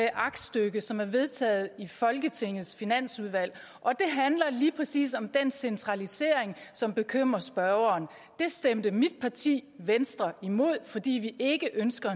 aktstykke som er vedtaget i folketingets finansudvalg og det handler lige præcis om den centralisering som bekymrer spørgeren det stemte mit parti venstre imod fordi vi ikke ønsker